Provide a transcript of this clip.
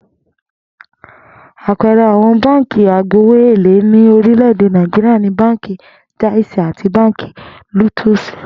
Àpe̩e̩re̩ àwo̩n báǹkì àìgbowó èlé ní orílè̩-èdè Nàìjíríà ni Báǹkì Jáìsì àti Báǹkì Lótúùsì